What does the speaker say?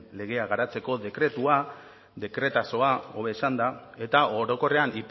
legea garatzeko dekretua dekretazoa hobe esanda eta orokorrean